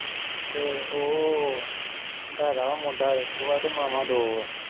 ਤੇ ਉਹ ਹੈਗਾ ਮੁੰਡਾ ਇਕ ਵਾ ਤੇ ਮਾਵਾਂ ਦੋ